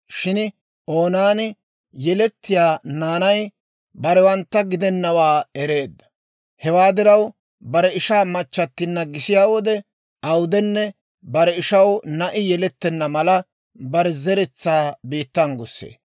Shin Oonaani yelettiyaa naanay barewantta gidenawaa ereedda; hewaa diraw bare ishaa machchattinna gisiyaa wode awudenne, bare ishaw na'i yelettenna mala, bare zeretsaa biittan gussee.